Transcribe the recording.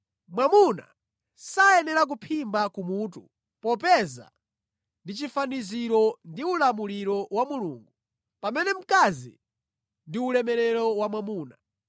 Mwamuna sayenera kuphimba kumutu popeza ndi chifaniziro ndi ulemerero wa Mulungu; pamene mkazi ndi ulemerero wa mwamuna.